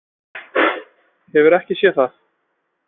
Hefurðu ekki séð það?